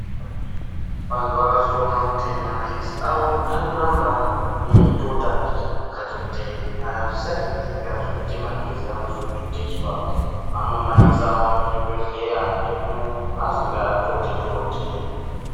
Vantu vakazotoona kuti maphirisi avo arikuramba eitota vakati kuti zvisaitika zvekuti maphirizi anozototeswa vanomaisawo muzvibhehleya umo masinga toti-toti.